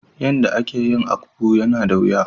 Yan da a ke yin " akpu" ya na da wuya.